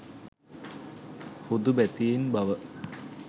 හුදුබැතියෙන් බව